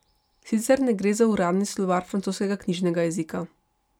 Sicer ne gre za uradni slovar francoskega knjižnega jezika.